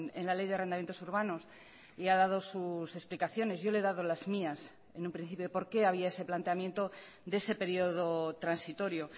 en la ley de arrendamientos urbanos y ha dado sus explicaciones yo le he dado las mías en un principio por qué había ese planteamiento de ese periodo transitorio